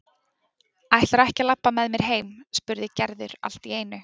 Ætlarðu ekki að labba með mér heim? spurði Gerður allt í einu.